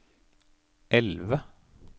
elve